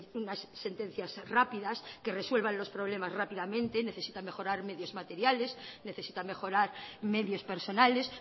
unas sentencias rápidas que resuelvan los problemas rápidamente necesitan mejorar en medios materiales necesitan mejorar medios personales